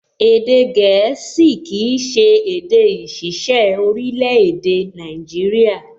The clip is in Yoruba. Èdè gẹ̀ẹ́sì kìí ṣe èdè ìṣiṣẹ́ orílẹ̀-èdè Nàìjíríyà